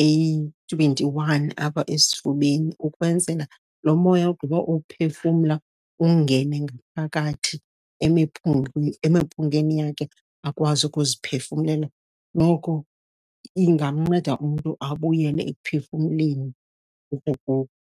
eyi-twenty-one apha esifubeni, ukwenzela lo moya ugqiba uwuphefumla ungene ngaphakathi emiphungeni yakhe, akwazi ukuziphefumlela. Noko ingamnceda umntu abuyele ekuphefumleni .